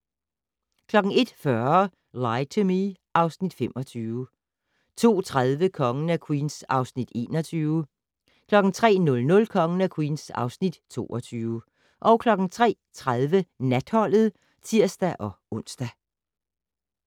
01:40: Lie to Me (Afs. 25) 02:30: Kongen af Queens (Afs. 21) 03:00: Kongen af Queens (Afs. 22) 03:30: Natholdet (tir-ons)